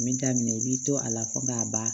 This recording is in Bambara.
N bi daminɛ i bi to a la fo k'a ban